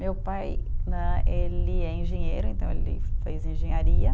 Meu pai né, ele é engenheiro, então ele fez engenharia.